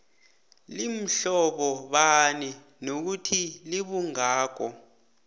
limhlobobani nokuthi libungako